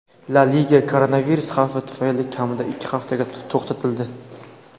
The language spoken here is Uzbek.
La Liga koronavirus xavfi tufayli kamida ikki haftaga to‘xtatildi.